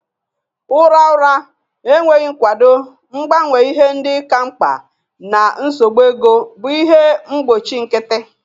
Ụra ụra, enweghị nkwado, mgbanwe ihe ndị ka mkpa, na nsogbu ego bụ ihe mgbochi nkịtị.